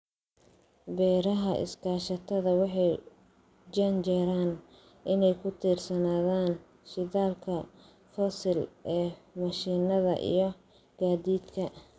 Beeraha iskaashatada waxay u janjeeraan inay ku tiirsanaadaan shidaalka fosil ee mashiinada iyo gaadiidka.